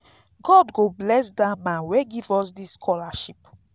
god go bless dat man wey give us dis scholarship